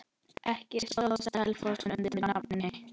Ekki stóð Selfoss undir nafni.